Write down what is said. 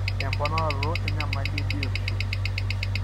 Emponaroto enyamali ebiotisho.